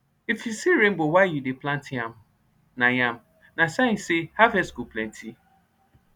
if you see rainbow while you dey plant yam na yam na sign say harvest go plenty